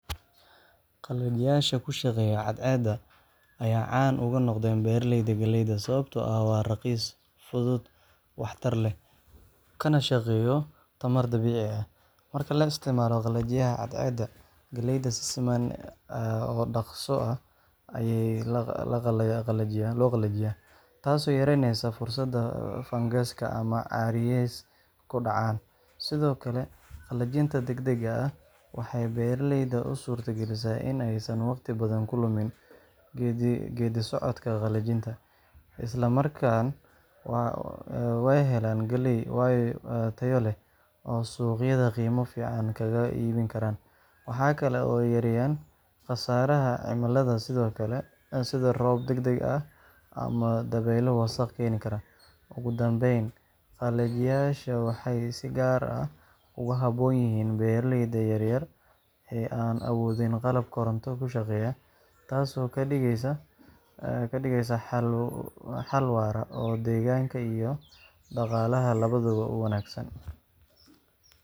Qalajiyaasha ku shaqeeya cadceedda ayaa caan uga noqday beeraleyda galleyda sababtoo ah waa raqiis, fudud, waxtar leh, kana shaqeeya tamar dabiici ah. Marka la isticmaalo qalajiyaha cadceedda, galleyda si siman oo dhakhso leh ayaa loo qalajiyaa, taasoo yareyneysa fursadda fangas ama caariyeys ku dhacaan. Sidoo kale, qalajinta degdega ah waxay beeraleyda u suurtagelisaa in aysan waqti badan ku lumin geeddi-socodka qalajinta, isla markaana ay helaan galley tayo leh oo suuqyada qiimo fiican kaga iibin karaan. Waxaa kale oo ay yareeyaan khasaaraha cimilada, sida roob degdeg ah ama dabeylo wasakh keeni kara. Ugu dambeyn, qalajiyaashani waxay si gaar ah ugu habboon yihiin beeraleyda yaryar ee aan awoodin qalab koronto ku shaqeeya, taasoo ka dhigaysa xal waara oo deegaanka iyo dhaqaalaha labadaba u wanaagsan.